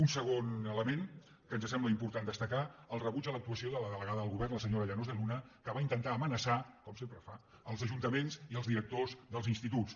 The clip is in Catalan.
un segon element que ens sembla important destacar el rebuig a l’actuació de la delegada del govern la se·nyora llanos de luna que va intentar amenaçar com sempre fa els ajuntaments i els directors dels instituts